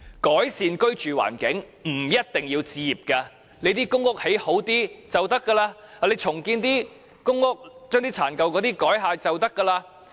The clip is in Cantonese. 改善居住環境，不一定要置業，提升公屋的質素便可以。重建公屋，將殘舊的公屋改建便可。